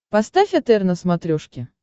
поставь отр на смотрешке